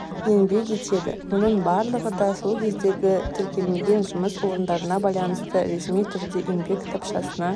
еңбек етеді мұның барлығы да сол кездегі тіркелмеген жұмыс орындарына байланысты ресми түрде еңбек кітапшасына